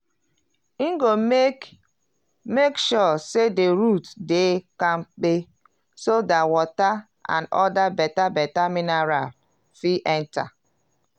e go make make sure say the roots dey kampe so dat water and other beta-beta mineral fit enta.